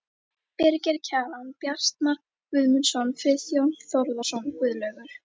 Birgir Kjaran, Bjartmar Guðmundsson, Friðjón Þórðarson, Guðlaugur